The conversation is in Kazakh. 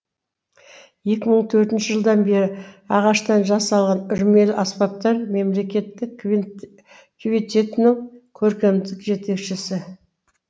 екі мың төртінші жылдан бері ағаштан жасалған үрмелі аспаптар мемлекеттік квинтетінің көркемдік жетекшісі